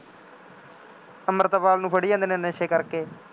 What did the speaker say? ਅੰਮ੍ਰਿਤਪਾਲ ਨੂੰ ਫੜ੍ਹੀ ਜਾਂਦੇ ਨੇ ਨਸ਼ੇ ਕਰਕੇ